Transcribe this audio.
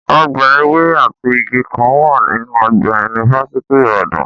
Ọgbà ewé àti igi kan wà nínú ọgbà yunifásítì Ìbàdàn